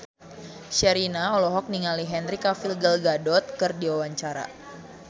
Sherina olohok ningali Henry Cavill Gal Gadot keur diwawancara